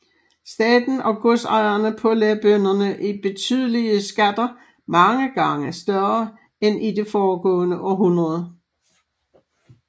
Staten og godsejerne pålagde bønderne betydelige skatter mange gange større end i det foregående århundrede